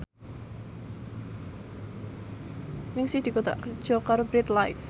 Ningsih dikontrak kerja karo Bread Life